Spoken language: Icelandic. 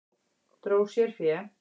Dró sér fé